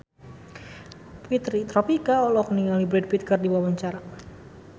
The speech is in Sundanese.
Fitri Tropika olohok ningali Brad Pitt keur diwawancara